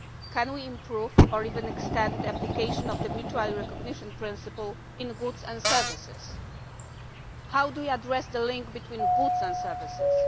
Can we improve or even extend the application of the mutual recognition principle in goods and services? How do we address the link between goods and services?